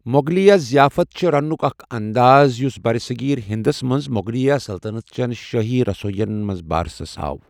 موغلیہ ضِیافتٕ چھے٘ رنٛنُک اکھ انداز یُس برصغیر ہندس منٛز موغلیہ سلطنت چین شٲہی رسوین منٛز بارسس آو ۔